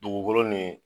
Dugukolo ni